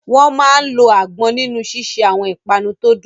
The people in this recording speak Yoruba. Wọ́n máa ń lo àgbọn nínú ṣíṣe àwọn ìpanu tó dùn